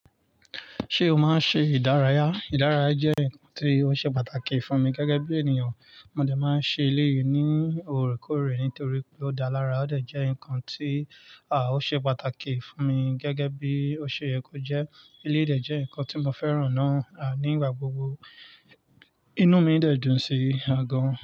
Ṣé o máa ń ṣe ìdárayá? Ìdárayá jẹ́ nǹkan tí ó ṣe pàtàkì fún mi gẹ́gẹ́ bí ènìyàn. Mo dà máa ń ṣe eléyìí ní òrékòrè nítorí pé ó dá lara, ó dà jẹ́ ǹkan tí ò ṣe pàtàkì fún mi gẹ́gẹ́ bí ó ṣe yẹ kó jẹ́. Eléyìí dà jẹ́ ǹkan tí mo fẹ́ràn náà, ní igbà gbogbo. Inú mi de dùn sí i gan.